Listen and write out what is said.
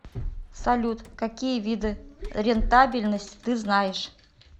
салют какие виды рентабельность ты знаешь